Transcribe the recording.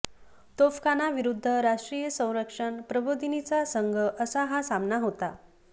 तोफखाना विरुद्ध राष्ट्रीय संरक्षण प्रबोधिनीचा संघ असा हा सामना होता